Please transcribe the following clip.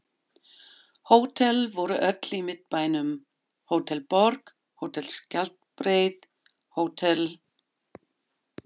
Hótel voru öll í Miðbænum: Hótel Borg, Hótel Skjaldbreið, Hótel